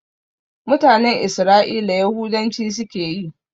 Mutanen Isra'ila Yahudanci suke yi